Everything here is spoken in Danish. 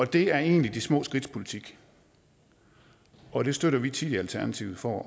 det er egentlig de små skridts politik og det støtter vi tit i alternativet for